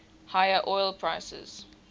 higher oil prices